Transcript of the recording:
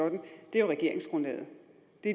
det